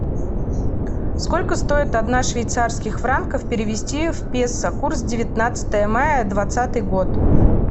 сколько стоит одна швейцарских франков перевести в песо курс девятнадцатое мая двадцатый год